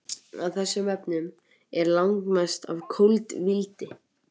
Af þessum efnum er langmest af koltvíildi.